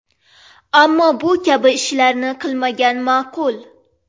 Ammo bu kabi ishlarni qilmagan ma’qul.